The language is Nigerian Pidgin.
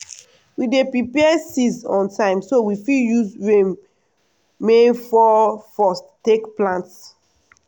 we dey prepare seeds on time so we fit use rain main fall first take plant.